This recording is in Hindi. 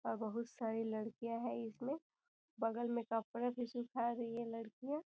और बहोत सारी लड़कियाॅं हैं इधर बगल में कपडे भी सूखा रही हैं लड़कियाॅं --